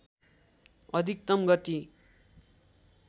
अधिकतम गति